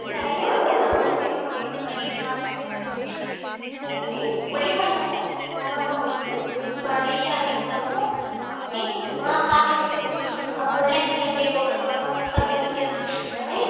இந்த மாதிரி நிறைய விவசாயம் பண்ணிட்டுதான் இருக்காங்க அதே மாதிரி கொல்லிமலைலதான் அதிகமா பலா மரம் இருக்கும் அப்புறம் நெல் அதிகமா இருக்கும் அங்கயே நான் பார்த்த வரைக்கும் ஆஹ் முள்ளங்கி அங்கே போட்டிருக்காங்க முட்டைகோஸ் இந்த மாதிரி